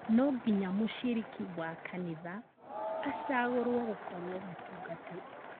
Nonginya mũciriki wa kanitha acagũrwo gũkorwo mũtungatĩri